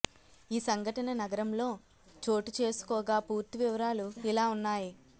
ఈ సంఘటన నగరంలో చోటుచేసుకోగా పూర్తి వివరాలు ఇలా ఉన్నాయి